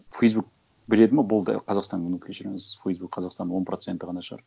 фейсбук біледі ме болды қазақстан ну кешіріңіз фейсбук қазақстанның он проценті ғана шығар